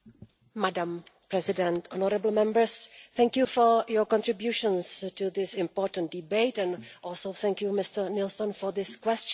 Madam President, honourable Members, thank you for your contributions to this important debate and also thank you Mr Nilsson for this question.